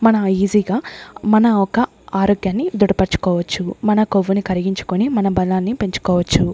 మన ఈజీగా మన యొక్క ఆరోగ్యాన్ని ధృడపరుచుకోవచ్చు మన కొవ్వుని కరిగించుకొని మన బలాన్ని పెంచుకోవచ్చు.